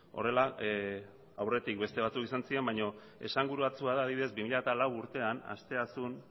horrela aurretik beste batzuk izan ziren baina esanguratsua da adibidez bi mila lau urtean asteasun